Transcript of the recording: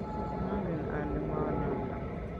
mangen ale ng'o noto